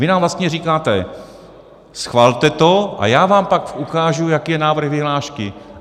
Vy nám vlastně říkáte: schvalte to a já vám pak ukážu, jaký je návrh vyhlášky.